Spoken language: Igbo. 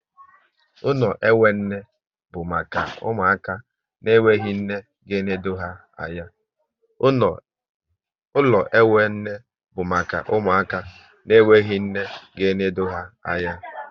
Ụlọ enwe nne bụ maka ụmụaka na enweghị nne ga enode ha anya